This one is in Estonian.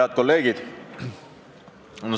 Head kolleegid!